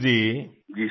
मंजूर जी जी सर